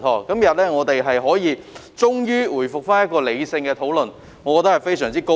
今天我們終於可以回復理性討論，我感到非常高興。